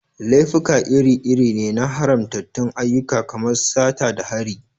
Laifuka iri-iri ne na haramtattun ayyuka kamar sata da hari.